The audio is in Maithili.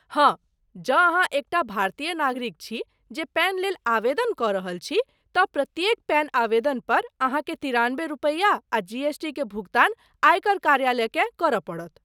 हाँ, जँ अहाँ एकटा भारतीय नागरिक छी जे पैन लेल आवेदन कऽ रहल छी तँ प्रत्येक पैन आवेदन पर अहाँकेँ तिरानबे रूपैया आ जीएसटी के भुगतान आयकर कार्यालय केँ करय पड़त।